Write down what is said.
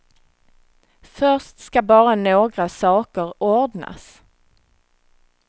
Först ska bara några saker ordnas.